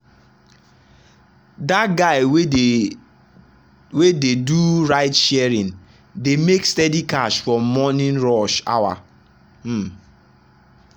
that guy wey dey wey dey do ride-sharing dey make steady cash from morning rush hour. um